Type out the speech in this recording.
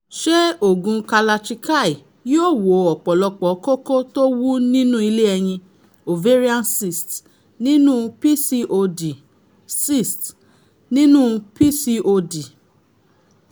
ṣé oògùn kalarchikai yóò wo ọ̀pọ̀lọpọ̀ kókó tó wú nínú ilé ẹyin (ovarian cysts) nínú pcod? cysts) nínú pcod?